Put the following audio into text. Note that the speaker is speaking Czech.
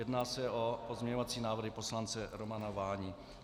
Jedná se o pozměňovací návrhy poslance Romana Váni.